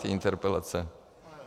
Ty interpelace.